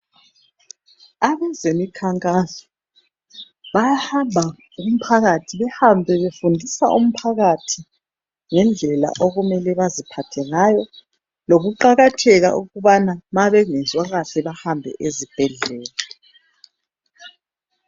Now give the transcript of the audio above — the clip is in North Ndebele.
Abezemikhankaso bayahamba kumphakathi, behambe befundisa umphakathi ngendlela okumele baziphathe ngayo, lokuqakatheka kokubana nxa bengezwa kahle bahambe ezibhedlela.